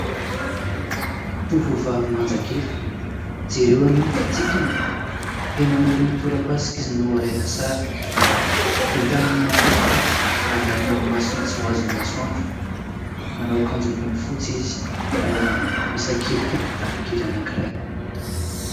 Tovovavy manjakely. Jereo anie ny fitsikiny ! Eny amoron'ny torapasika izy no alaina sary. Ny tanany mahafatifaty manarona ny masony tsy ho azon'ny masoandro. Manao akanjo ambony fotsy ary misakelika kitapo kely anankiray.